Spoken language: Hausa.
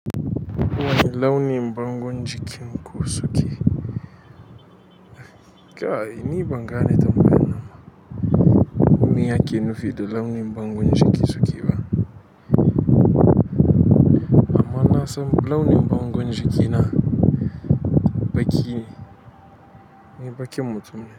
Wani launin bangon jikin ku suke? Kai ni bangane tambayan nan. Miya yake nufi da launin bangon jiki suke ba. Amma nasan launin bangon jikina baƙine ni baƙin mutum ne.